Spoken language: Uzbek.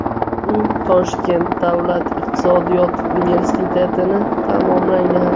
U Toshkent davlat iqtisodiyot universitetini tamomlagan.